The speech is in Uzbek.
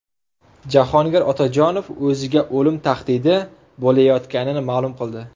Jahongir Otajonov o‘ziga o‘lim tahdidi bo‘layotganini ma’lum qildi .